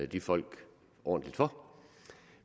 de folk ordentligt for